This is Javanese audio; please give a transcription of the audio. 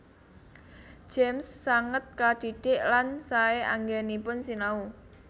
James sanget kadhidhik lan saé anggènipun sinau